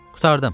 Qurtardım.